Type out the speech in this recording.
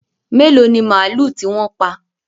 Mélòó ni màlúù tí wọ́n ti pa?